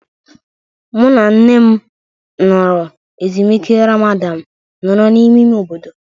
Mụ na nne m nọrọ ezumike Ramadan nọrọ n'ime ime obodo.